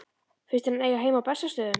Finnst þér hann eiga heima á Bessastöðum?